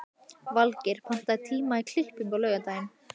Valgeir, pantaðu tíma í klippingu á laugardaginn.